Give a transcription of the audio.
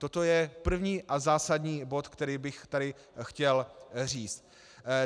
Toto je první a zásadní bod, který bych tady chtěl říct.